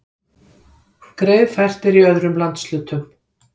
Greiðfært er í öðrum landshlutum